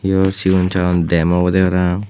yan oley sigon sagon dem obodey parapang.